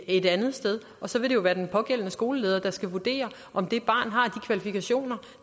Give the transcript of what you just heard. et andet sted og så vil det jo være den pågældende skoleleder der skal vurdere om det barn har de kvalifikationer